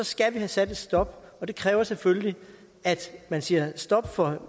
skal vi have sat en stopper for og det kræver selvfølgelig at man siger stop for